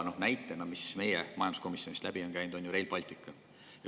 Näiteks meie majanduskomisjonist on läbi käinud Rail Baltic.